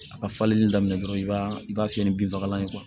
A ka falenni daminɛ dɔrɔn i b'a i b'a fiyɛ ni binfagalan ye